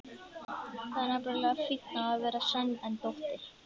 Það er nefnilega fínna að vera sen en dóttir.